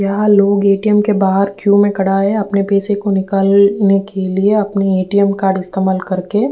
यहाँ लोग एटीएम के बाहर क्यू में खड़ा हैं। अपने पैसे को निकालने के लिए अपने एटीएम कार्ड का इस्तेमाल करके।